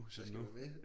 Jeg skal gå med